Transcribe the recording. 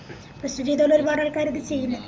ഇപ്പൊ institute തന്നെ ഒരുപാടാൾക്കാരിത് ചെയ്യുന്നുണ്ട്